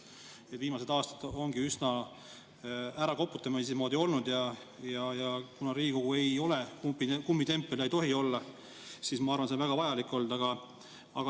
Viimastel aastatel ongi üsna ärakoputamise moodi olnud, aga kuna Riigikogu ei ole kummitempel ja ei tohi olla, siis ma arvan, et see on väga vajalik olnud.